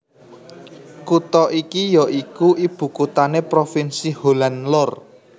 Kutha iki ya iku ibukuthané provinsi Holland Lor